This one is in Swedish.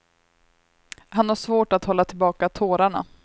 Han har svårt att hålla tillbaka tårarna.